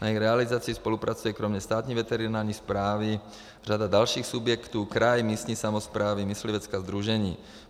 Na jejich realizaci spolupracuje kromě Státní veterinární správy řada dalších subjektů, kraj, místní samosprávy, myslivecká sdružení.